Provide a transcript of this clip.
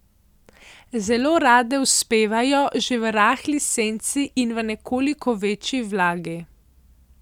Zelo rade uspevajo že v rahli senci in v nekoliko večji vlagi.